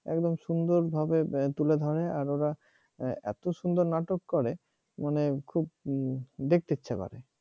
একদম সুন্দরভাবে তুলে ধরে আর ওরা এত সুন্দর নাটক করে মানে খুব দেখতে ইচ্ছা করে